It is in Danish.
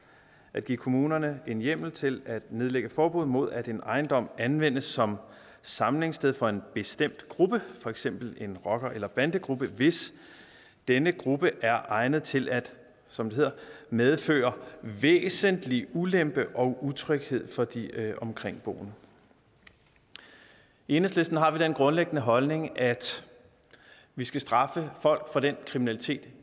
at give kommunerne en hjemmel til at nedlægge forbud mod at en ejendom anvendes som samlingssted for en bestemt gruppe for eksempel en rocker eller bandegruppe hvis denne gruppe er egnet til at som det hedder medføre væsentlig ulempe og utryghed for de omkringboende enhedslisten har den grundlæggende holdning at vi skal straffe folk for den kriminalitet